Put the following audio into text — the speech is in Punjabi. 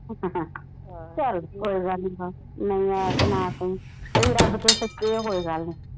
ਚਲ ਕੋਈ ਗੱਲ ਨਹੀਂ ਆ ਨਹੀਂ ਆਇਆ ਤੇ ਨਾ ਸਹੀ ਤੁਸੀ ਰਬ ਤੋਂ ਸੱਚੇ ਓ ਕੋਈ ਗੱਲ ਨਹੀਂ।